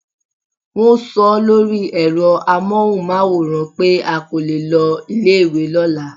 Wón so ó lórí èro amóhùnmáwòràn pé a kò lo ilé ìwé lóla